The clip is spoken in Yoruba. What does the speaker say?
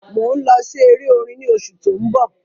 mọ ń lọ sí èrè orin ní oṣù to ń bó